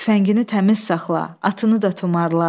Tüfəngini təmiz saxla, atını da tumarla.